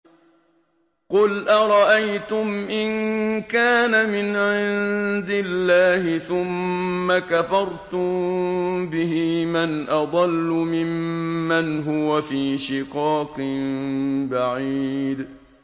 قُلْ أَرَأَيْتُمْ إِن كَانَ مِنْ عِندِ اللَّهِ ثُمَّ كَفَرْتُم بِهِ مَنْ أَضَلُّ مِمَّنْ هُوَ فِي شِقَاقٍ بَعِيدٍ